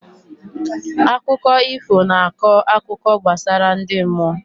Akụkọ ifo na akọ akụkọ gbasara ndị mmụọ